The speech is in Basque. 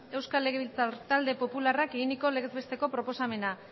euskal legebiltzar talde popularrak egindako legez besteko proposamena